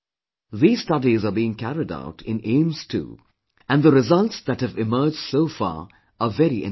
These studies are being carried out in AIIMS too and the results that have emerged so far are very encouraging